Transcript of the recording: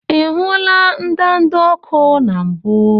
Ị hụla ndanda ọkụ na mbụ?